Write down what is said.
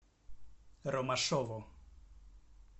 ромашову